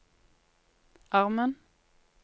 armen